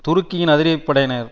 துருக்கியின் அதிரடி படையினர்